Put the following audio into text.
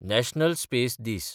national space दीस